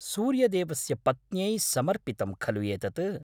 सूर्यदेवस्य पत्न्यै समर्पितं खलु एतत्?